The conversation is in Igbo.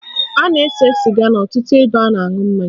A na-ese sịga n'ọtụtụ ebe a na-aṅụ mmanya